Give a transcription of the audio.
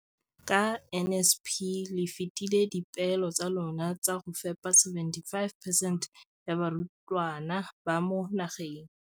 Ka NSNP le fetile dipeelo tsa lona tsa go fepa masome a supa le botlhano a diperesente ya barutwana ba mo nageng.